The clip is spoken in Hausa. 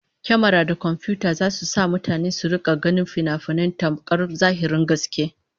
Kyamara da komfiyuta zasu sa mutane su rika ganin finafinai tamkar zahirin gaske